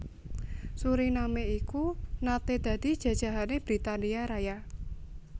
Suriname iku naté dadi jajahané Britania Raya